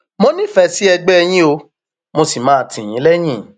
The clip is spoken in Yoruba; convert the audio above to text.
mo nífẹẹ sí ẹgbẹ yín o mo sì máa tì yín lẹyìn